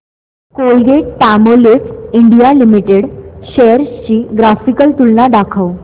Colgate Palmolive India limited shares ची graphical तुलना दाखव